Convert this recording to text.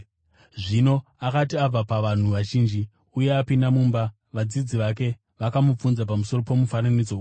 Zvino akati abva pavanhu vazhinji uye apinda mumba, vadzidzi vake vakamubvunza pamusoro pomufananidzo uyu.